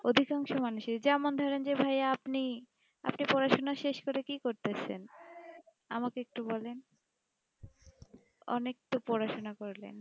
অধিকাংশের মানুষের জ্যামন ধরনের ভাইয়া আপনি আপনি পড়াশোনা শেষ করে আসে কি কোরচাইন আমাকে একটু বলাই অনেক তো পড়াশোনো করলেই